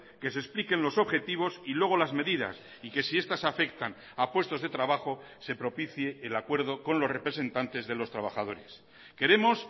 que se expliquen los objetivos y luego las medidas y que si estas afectan a puestos de trabajo se propicie el acuerdo con los representantes de los trabajadores queremos